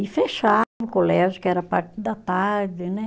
E o colégio, que era a parte da tarde, né?